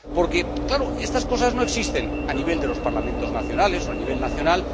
Porque, claro, estas cosas no existen a nivel de los Parlamentos nacionales o a nivel nacional